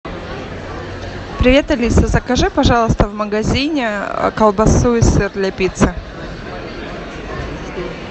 привет алиса закажи пожалуйста в магазине колбасу и сыр для пиццы